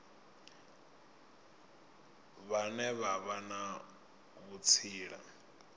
vhane vha vha na vhutsila